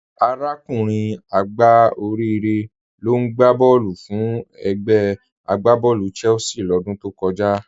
Arákùnrin àgbá Òríre ló n gbà bọ̀ọ̀lù fún ègbè àgbàbọ̀ọ̀lú Chelsea lódún tó kọ̀jà.